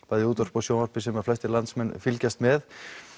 bæði í útvarpi og sjónvarpi sem flestir landsmenn fylgjast með